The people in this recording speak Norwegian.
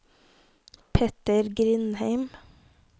Petter Grindheim